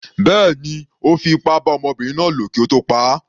Bẹ́ẹ̀ni, Ó fi ipá bá ọmọbinrin náà lò kí ó tó pa á.